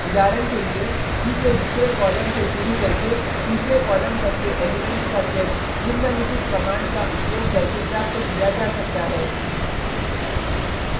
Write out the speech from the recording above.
उदाहरण के लिए e के दूसरे कॉलम से शुरू करके तीसरे कॉलम तक के एलिमेंट्स का सेट निम्नलिखित कमांड का उपयोग करके प्राप्त किया जा सकता है: